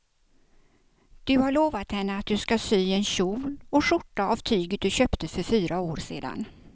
Du har lovat henne att du ska sy en kjol och skjorta av tyget du köpte för fyra år sedan.